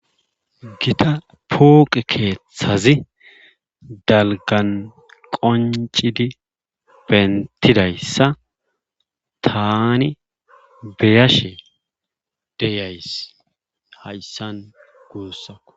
Gita fooqe keethazi dalggan qonccidi benttidayssa taani beyashe deyays hayssan guusako